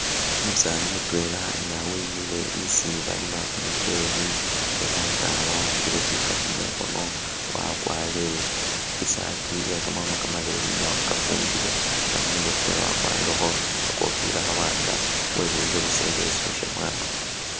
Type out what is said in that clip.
Umusani mutwela nga wemile isi balima kumuchele, ela nga wa'ambile shilkapo mukhono wakwarire isaati iye kamakhono kamaleyi ne wakafumbile, inga khumurwe kwe wakwarireho khakofila kha wanga webuwile busa ileso sha mwalo